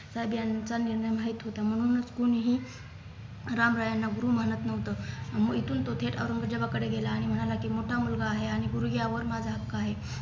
साहेब यांचा निर्णय माहीत होता म्हणूनच कुणीही रामराय यांना गुरु मानत नव्हत म इथून तो थेट औरंगजेबाकडे गेला आणि मनाला की मोठा मुलगा आहे आणि गुरु यावर माझा हक्क आहे